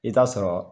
I t'a sɔrɔ